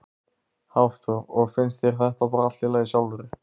Hafþór: Og finnst þér þetta bara allt í lagi sjálfri?